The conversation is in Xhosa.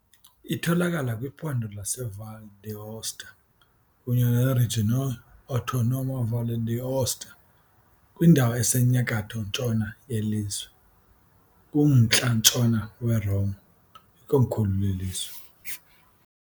Itholakala kwiphondo laseValle d'Aosta kunye ne-Regionae Autonoma Valle d'Aosta, kwindawo esenyakatho-ntshona yelizwe, kumntla-ntshona weRoma, ikomkhulu lelizwe.